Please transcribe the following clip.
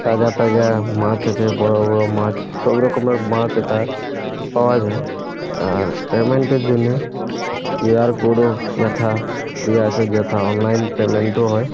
তাজা তাজা মাছ আছে বড় বড় মাছ সব রকমের মাছ এথা পাওয়া যায়। আর পেমেন্ট এর জন্য কিউ আর কোড ও এথা দেওয়া আছে যেথা অনলাইন পেমেন্ট ও হয়।